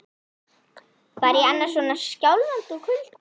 Var ég annars svona skjálfandi úr kulda?